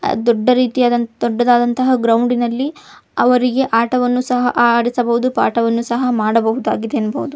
ದೊಡ್ಡ ರೀತಿಯಾದ ದೊಡ್ಡದಾದಂತಹ ಗ್ರೌಂಡ್ನಲ್ಲಿ ಅವರಿಗೆ ಆಟವನ್ನು ಸಹ ಆಡಿಸಬಹುದು ಪಾಠವನ್ನು ಸಹ ಮಾಡಿಸಬಹುದು ಎನ್ನಬಹುದು.